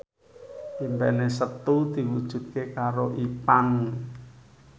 impine Setu diwujudke karo Ipank